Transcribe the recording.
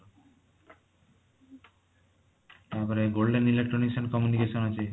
ତାପରେ golden electronics ସେଠି communication ଅଛି